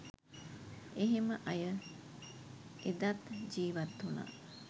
එහෙම අය එදත් ජීවත් උනා